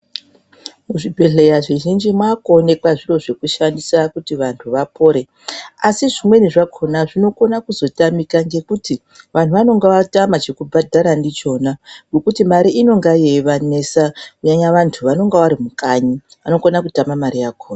Muzvibhehlera zvizhinji mwakuoneka zviro zvekushandisa kuti vantu vapore. Asi zvimweni zvakona zvinokona kuzotamika ngekuti vantu vanenge vatama chekubhadhara ndichona ngekuti mare inenge yeivanesa kunyanya vantu vanenge vari mukanyi vanokona kutama mare yakona.